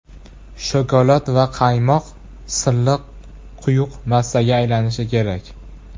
Shokolad va qaymoq silliq, quyuq massaga aylanishi kerak.